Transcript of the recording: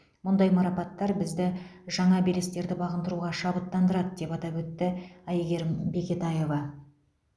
мұндай марапаттар бізді жаңа белестерді бағындыруға шабыттандырады деп атап өтті әйгерім бекетаева